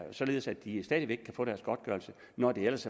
således at de stadig væk kan få deres godtgørelse når det ellers